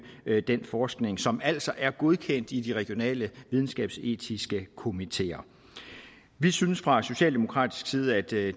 den forskning som altså er godkendt i de regionale videnskabsetiske komiteer vi synes fra socialdemokratisk side at det